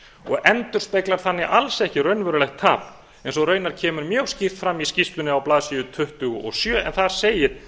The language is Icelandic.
og endurspeglar þannig alls ekki raunverulegt tap eins og raunar kemur mjög skýrt fram í skýrslunni á blaðsíðu tuttugu og sjö en þar segir